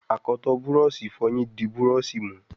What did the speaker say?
akọtọ Búrọ̀ọ̀ṣì ìfọyín dì Búrọ̀ọ̀ṣì mú.